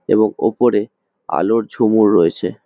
এবং ওপরে আলোর ঝুমুর রয়েছে।